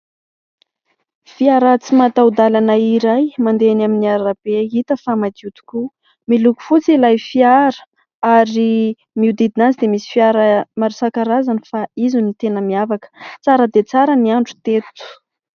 Fiara tsy mataho-dalana iray mandeha eny amin'ny arabe hita fa madio tokoa. Miloko fotsy ilay fiara ary miodidina azy dia misy fiara maro isan-karazany fa izy no tena miavaka. Tsara dia tsara ny andro teto.